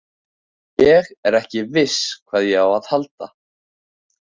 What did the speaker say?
Ég er ekki viss hvað ég á að halda.